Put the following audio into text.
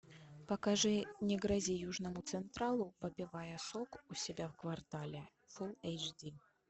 покажи не грози южному централу попивая сок у себя в квартале фул эйч ди